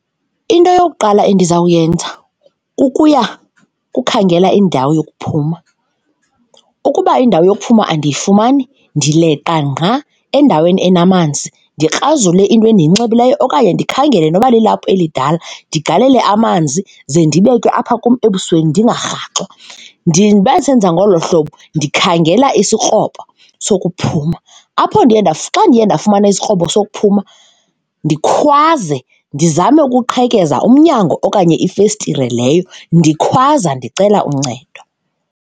Into eyokuqala endizawuyenza kukuya kukhangela indawo yokuphuma. Ukuba indawo yokuphuma andiyifumani ndileqa ngqa endaweni enamanzi ndikrazule into endiyinxibileyo okanye ndikhangele noba lilaphu elidala ndigalele amanzi, ze ndibeke apha kum ebusweni ndingarhaxwa. Ndibe ndisenza ngolo hlobo ndikhangela isikrobo sokuphumza. Apho ndiye xa ndiye ndafumana isikrobo sokuphuma ndikhwaze, ndizame ukuqhekeza umnyango okanye ifestire leyo ndikhwaza ndicela uncedo.